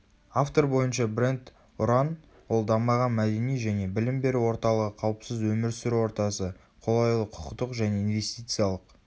автор бойынша бренд ұран ол дамыған мәдени және білім беру орталығы қауіпсіз өмір сүру ортасы қолайлы құқықтық және инвестициялық